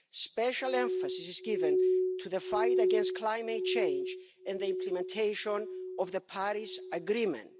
Special emphasis is given to the fight against climate change and the implementation of the Paris Agreement.